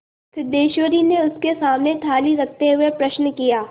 सिद्धेश्वरी ने उसके सामने थाली रखते हुए प्रश्न किया